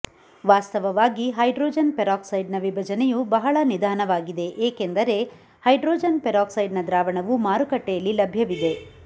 ವಾಸ್ತವವಾಗಿ hydrogen peroxide ನ ವಿಭಜನೆಯು ಬಹಳ ನಿಧಾನವಾಗಿದೆ ಏಕೆಂದರೆ ಹೈಡ್ರೋಜನ್ ಪೆರಾಕ್ಸೈಡ್ ನ ದ್ರಾವಣವು ಮಾರುಕಟ್ಟೆಯಲ್ಲಿ ಲಭ್ಯವಿದೆ